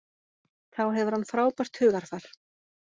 Þá hefur hann frábært hugarfar.